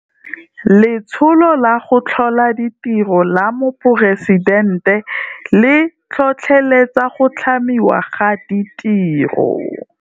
Letsholo la go Tlhola Ditiro la Moporesidente le tlhotlheletsa go tlhamiwa ga ditiro.